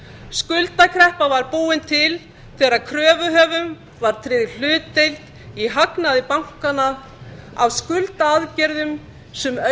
skuldakreppa var búin til þegar kröfuhöfum var tryggð hlutdeild í hagnaði bankanna af skuldaaðgerðum sem